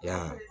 Yan